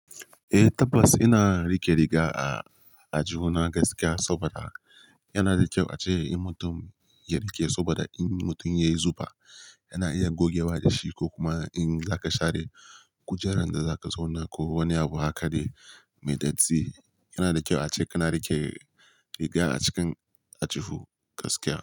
Eh tabbas ina rike riga a, aljihuna gaskiya saboda yana da kyau ace in mutum ya rike saboda in mutum yayi zufa yana iya gogewa da shi ko kuma in zaka share kujerar da zaka zauna ko wani abu haka de, mai datti. Yana da kyau ace kana rike riga a cikin ajihu gaskiya.